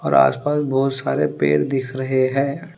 और आसपास बहुत सारा पेड़ दिख रहे हैं।